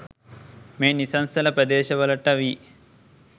මේ නිසංසල ප්‍රදේශවලට වී